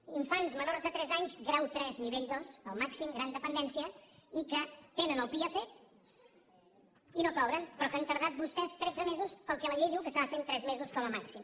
infants menors de tres anys grau tres nivell dos el màxim de gran dependència i que tenen el pia fet i no cobren però que han tardat vostès tretze mesos per al que la llei diu que s’ha de fer en tres mesos com a màxim